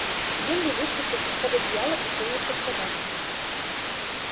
генри выскочил из под одеяла и кинулся к собакам